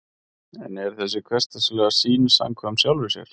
en er þessi hversdagslega sýn samkvæm sjálfri sér